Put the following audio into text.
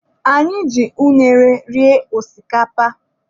Anyị ji unere rie osikapa.